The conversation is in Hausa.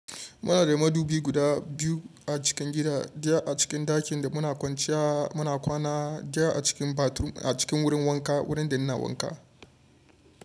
Muna da madubi guda biyu a cikin gida, daya a cikin ɗakin da muna kwanciya muna kwana, daya a cikin bathroom a cikin wurin wanka wurin da ina wanka.